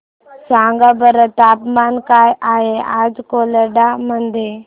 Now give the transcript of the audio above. सांगा बरं तापमान काय आहे आज कोलाड मध्ये